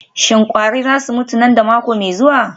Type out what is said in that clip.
Shin kwari za su mutu nan da mako mai zuwa?